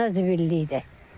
Zibillikdir.